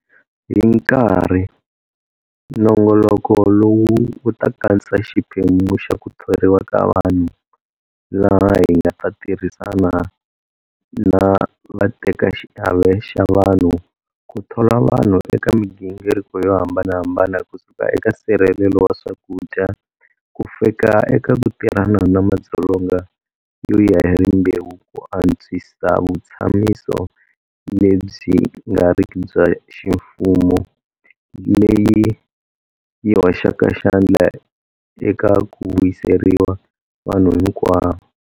Hi nkarhi, nongoloko lowu wu ta katsa xiphemu xa 'ku thoriwa ka vanhu', laha hi nga ta tirhisana na vatekaxiave xa vanhu ku thola vanhu eka migingiriko yo hambanahambana kusuka eka nsirhelelo wa swakudya, kufika eka ku tirhana na madzolonga yo ya hi rimbewu ku antswisa vutshamiso lebyi nga riki bya ximfumo leyi yi hoxaka xandla eka ku vuyerisa vanhu hinkwavo.